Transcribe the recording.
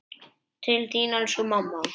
Til þín elsku mamma.